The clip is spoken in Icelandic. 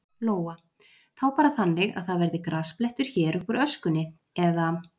Lóa: Þá bara þannig að það verði grasblettur hér uppúr öskunni, eða?